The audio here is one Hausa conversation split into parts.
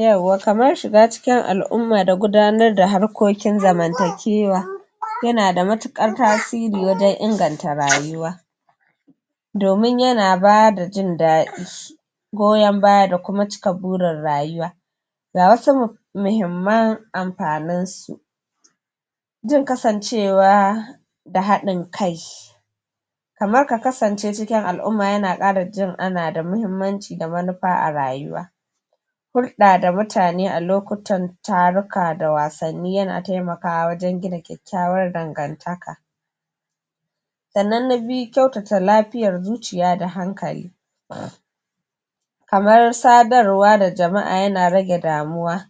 yauwa kamar shiga cikin al'umma da gudanar da harkokin zamantakewa yana da matuƙar tasiri wajen inganta rayuwa domin yana bada jin daɗi goyon baya da kuma cika burin rayuwa ga wasu muhimman amfanin su jin kasancewa da haɗin kai kamar ka kasance cikin al'umma yana ƙara jin ana da muhimmanci da manufa a rayuwa hulɗa da mutane a lokutan taruka da wasanni yana temakawa wajen gina kyakkyawar dangantaka sannan na biyu kyautata lafiyar zuciya da hankali kamar sadarwa da jama'a yana rage damuwa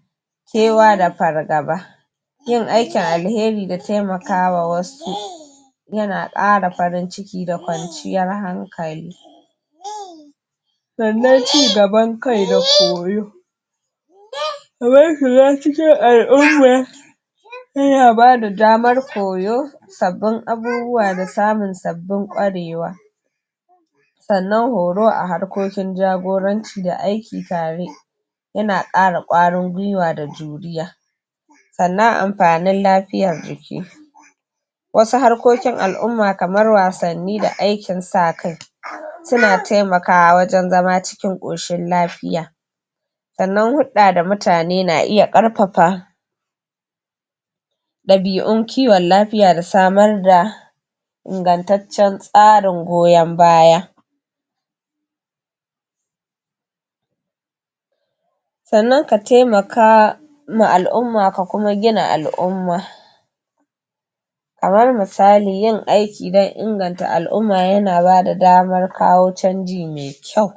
kewa da fargaba yin aikin alheri da temakawa wasu yana ƙara farinciki da kwanciyar hankali sannan cigaban kai da koyo kamar shiga cikin al'umma yana bada damar koyo sabbin abubuwa da samun sabbin ƙwarewa sannan horo a harkokin jagoranci da aiki tare yana ƙara ƙwarin gwiwa da juriya sannan amfanin lafiyar jiki wasu harkokin al'umma kamar wasanni da aikin sa kai suna temakawa wajen zama cikin ƙoshin lafiya sannan hulɗa da mutane na iya ƙarfafa ɗabiun kiwon lafiya da samar da ingantaccen tsarin goyon baya sannan ka temaka ma al'umma ka kuma gina al'umma kamar misali yin aiki don inganta al'umma yana bada damar kawo canji me kyau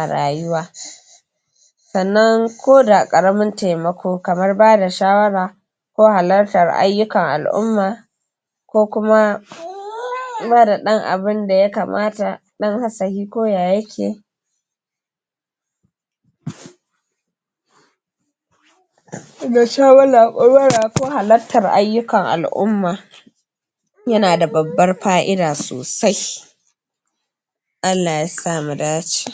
a rayuwa sannan ko da ƙaramin temako kamar bada shawara ko halartar ayyukan al'umma ko kuma kula da ɗan abunda ya kamata ɗan ko ya yake da ko halartar ayyukan al'umma yana da babbar fa'ida sosai Allah ya sa mu dace